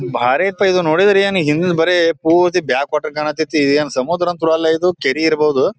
ಬ್ಯಾರೇಪ ಎದು ನೋಡಿದ್ರೆ ಏನ್ ಹಿಂದ್ ಬರೇ ಪೂರ್ತಿ ಕಾಂತಹಿತೇ ಏನ್ ಇದ್ ಸಮುದ್ರ ಅಂತೂರು ಅಲ್ಲ ಕೆರೆ ಇರಬಹುದು.